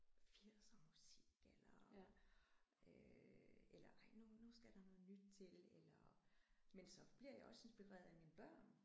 Firsermusik eller øh eller ej nu nu skal der noget nyt til eller men så bliver jeg også inspireret af mine børn